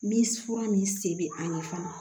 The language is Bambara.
Ni fura min se bɛ an ye fana